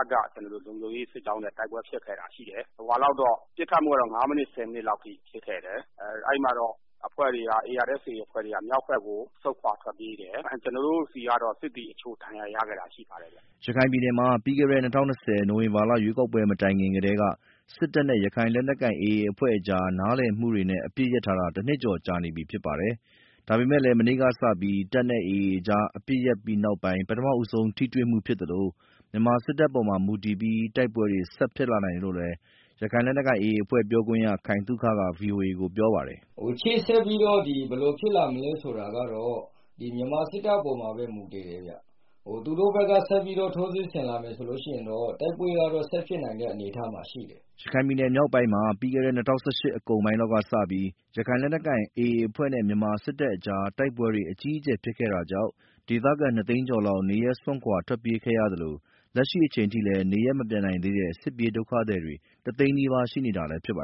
ပ်က လုံခြုံရေးစစ်ကြောင်းနဲ့ တိုက်ပွဲဖြစ်ခဲ့တာရှိတယ်။ ပစ်ခတ်မှုကတော့ ငါးမိနစ် ဆယ်မိနစ်လောက်ထိ ပစ်ခတ်မှုဖြစ်ခဲ့တယ်။ အဲဒီမှာ ARSA အဖွဲ့တွေက မြောက်ဘက်ကို ဆုတ်ခွာထွက်ပြေးတယ်။ ကျနော်တို့ဆီကတော့ စစ်သည်အချို့ ဒဏ်ရာရခဲ့တာ ရှိပါတယ်ဗျာ။” ရခိုင်ပြည်နယ်မှာ ပြီးခဲ့တဲ့ ၂၀၂၀ ခုနှစ် နိုဝင်ဘာလ ရွေးကောက်ပွဲ မတိုင်ခင်ကတည်းက တပ်နဲ့ ရခိုင်လက်နက်ကိုင် AA အဖွဲ့ကြား နားလည်မှုတွေနဲ့ အပစ်ရပ်ထားတာ တနှစ်ကျော်ကြာနေပြီ ဖြစ်ပါတယ်။ ဒါပေမယ့်လည်း မနေ့ကစပြီး တပ်နဲ့ AA အဖွဲ့ကြား တိုက်ပွဲတွေ ရပ်တန့်ထားပြီးနောက်ပိုင်း ပထမဆုံး ထိတွေ့မှုဖြစ်သလို မြန်မာစစ်တပ်ပေါ်မှာ မူတည်ပြီး တိုက်ပွဲတွေ ဆက်ဖြစ်လာနိုင်တယ်လို့လည်း ရခိုင်လက်နက်ကိုင် AA အဖွဲ့ ပြောခွင့်ရ ခိုင်သုက ဗွီအိုအေကို ပြောပါတယ်။ “ရှေ့ဆက်ပြီးတော့ ဘယ်လိုဖြစ်လာမလဲ ဆိုတာကတော့ မြန်မာစစ်တပ်အပေါ်မှာပဲ မူတည်တယ်ဗျာ။ သူတို့ဘက်က ဆက်ပြီးတော့ ထိုးစစ်ဆင်လာမယ် ဆိုလို့ရှိရင်တော့ တိုက်ပွဲက ဆက်ဖြစ်နိုင်တဲ့ အနေအထားမှာ ရှိတယ်။” ရခိုင်ပြည်နယ်မြောက်ပိုင်းမှာ ပြီးခဲ့တဲ့ ၂၀၁၈ အကုန်ပိုင်းလောက်ကစပြီး ရခိုင်လက်နက်ကိုင် AA အဖွဲ့နဲ့ မြန်မာစစ်တပ်ကြား တိုက်ပွဲတွေ အကြီးအကျယ် ဖြစ်ခဲ့တာကြောင့် ဒေသခံ ၂ သိန်းကျော်လောက် နေရပ်စွန့်ခွာ ထွက်ပြေးခဲ့ရသလို လက်ရှိအချိန်ထိလည်း နေရပ်မပြန်နိုင်သေးတဲ့ စစ်ဘေးဒုက္ခသည်တွေ တသိန်းနီးပါး ရှိနေသေးတာလည်း ဖြစ်ပါ